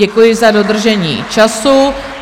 Děkuji za dodržení času.